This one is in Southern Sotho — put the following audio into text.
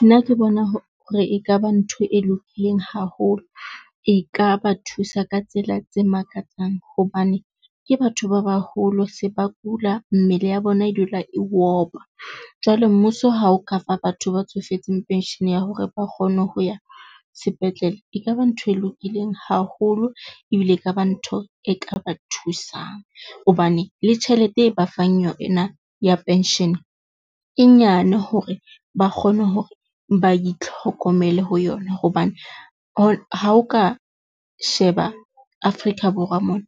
Nna ke bona hore e ka ba ntho e lokileng haholo, e ka ba thusa ka tsela tse makatsang hobane ke batho ba baholo se ba kula. Mmele ya bona e dula e opa jwale mmuso ha o kafa batho ba tsofetseng pension-e ya hore ba kgone ho ya sepetlele, e kaba ntho e lokileng haholo ebile e kaba ntho e ka ba thusang hobane le tjhelete e ba fang yona ya pension e nyane hore ba kgone hore ba itlhokomele ho yona, hobane ha o ka sheba Afrika Borwa mona.